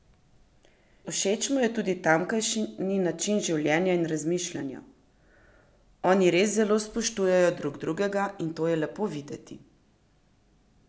Všeč mu je tudi tamkajšnji način življenja in razmišljanja: "Oni res zelo spoštujejo drug drugega in to je lepo videti.